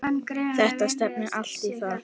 Það stefnir allt í það.